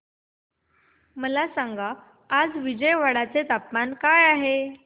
मला सांगा आज विजयवाडा चे तापमान काय आहे